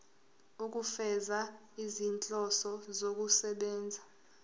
ukufeza izinhloso zokusebenzisa